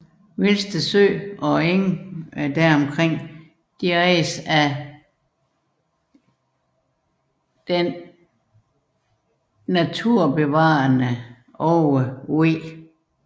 Vilsted sø og omgivende enge ejes af den naturbevarende Aage V